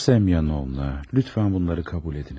Sonya Semyonovna, lütfən bunları qəbul ediniz.